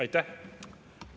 Aitäh!